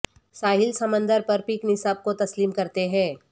ساحل سمندر پر پک نصاب کو تسلیم کرتے ہیں